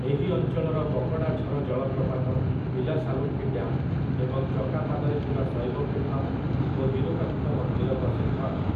ଏହି ଅଞ୍ଚଳର ପକଡ଼ାଝର ଜଳପ୍ରପାତ, ପିଲାସାଲୁଙ୍କି ଡ୍ୟାମ ଏବଂ ଚକାପାଦରେ ଥିବା ଶୈବ ପୀଠ ଓ ବିରୁପାକ୍ଷ ମନ୍ଦିର ପ୍ରସିଦ୍ଧ ଅଟେ ।